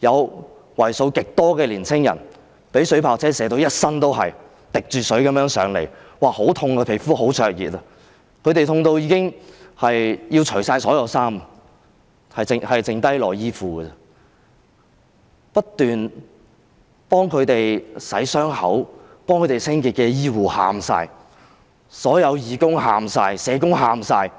有為數極多的年青人被水炮車射中，全身濕透地來到平台，說皮膚十分灼熱、很痛，他們痛得要脫下所有衣物，只剩下內衣褲，不斷替他們清洗傷口及清潔的醫護全部都哭了，所有義工及社工也哭了，